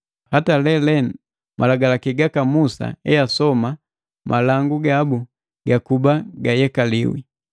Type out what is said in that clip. Hata lelenu, Malagalaki gaka Musa easoma malangu gabu gakuba gayekaliwi.